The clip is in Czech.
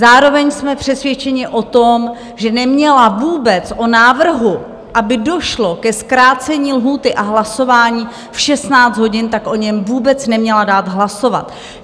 Zároveň jsme přesvědčeni o tom, že neměla vůbec o návrhu, aby došlo ke zkrácení lhůty a hlasování v 16 hodin, tak o něm vůbec neměla dát hlasovat.